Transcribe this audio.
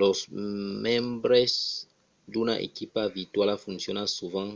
los membres d’una equipa virtuala foncionan sovent